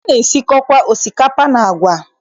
Ana-esikọkwa osikapa and agwa.